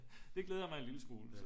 det glæder mig en lille smule så